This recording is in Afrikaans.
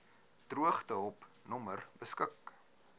droogtehulp nommer beskik